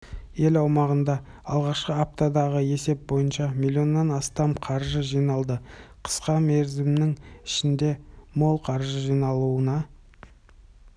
ел аумағында алғашқы аптадағы есеп бойынша миллионнан астам қаржы жиналды қысқа мерзімнің ішінде мол қаржы жинауына